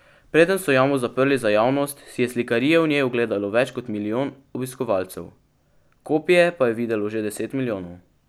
Preden so jamo zaprli za javnost, si je slikarije v njej ogledalo več kot milijon obiskovalcev, kopije pa je videlo že deset milijonov.